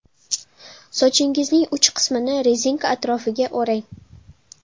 Sochingizning uch qismini rezinka atrofiga o‘rang.